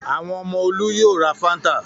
Àwọn ọmọ Olú yóò ra Fanta.